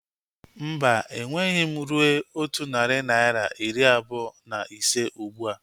Mba, enweghị m rue otu narị naira iri abụọ na ise ụgbụa